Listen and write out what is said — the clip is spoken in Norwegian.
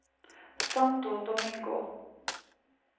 Santo Domingo